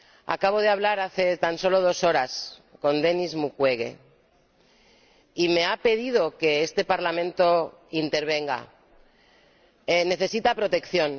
Acabo de hablar, hace tan solo dos horas, con Denis Mukwege y me ha pedido que este Parlamento intervenga necesita protección.